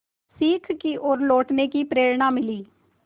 सीख की ओर लौटने की प्रेरणा मिली